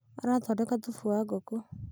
arathondeka thubu wa ngũkũ